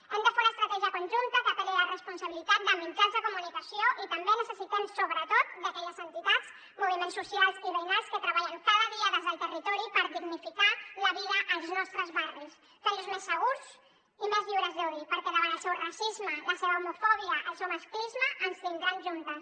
hem de fer una estratègia conjunta que apel·li a la responsabilitat de mitjans de comunicació i també necessitem sobretot d’aquelles entitats moviments socials i veïnals que treballen cada dia des del territori per dignificar la vida als nostres barris fent los més segurs i més lliures d’odi perquè davant el seu racisme la seva homofòbia el seu masclisme ens tindran juntes